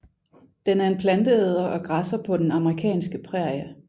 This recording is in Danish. Den er en planteæder og græsser på den amerikanske prærie